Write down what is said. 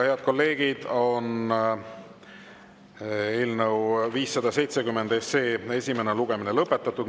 Head kolleegid, eelnõu 570 esimene lugemine on lõpetatud.